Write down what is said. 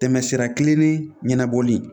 Tɛmɛ sira kelen ni ɲɛnabɔli